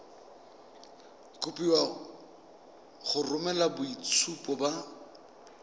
kopiwa go romela boitshupo ba